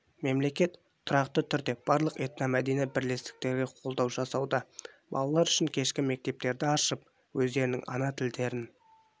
мемлекет тұрақты түрде барлық этномәдени бірлестіктерге қолдау жасауда балалар үшін кешкі мектептерді ашып өздерінің ана тілдерін